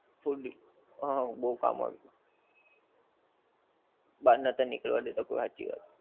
full હા બહું કામ આવ્યું થું બાર નતા નીકળવા દેતા કોઈ હાચી વાત છે